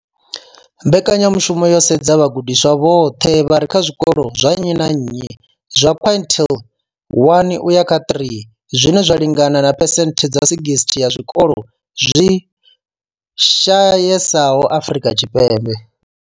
Mbekanyamushumo yo sedza vhagudiswa vhoṱhe vha re kha zwikolo zwa nnyi na nnyi zwa quintile 1 uya kha 3, zwine zwa lingana na phesenthe dza 60 ya zwikolo zwi shayesaho Afrika Tshipembe.